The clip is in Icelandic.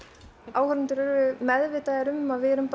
áhorfendur eru meðvitaðir um að við erum